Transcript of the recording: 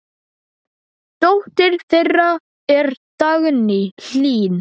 Dóttir þeirra er Dagný Hlín.